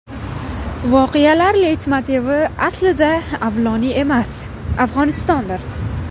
Voqealar leytmotivi aslida Avloniy emas, Afg‘onistondir.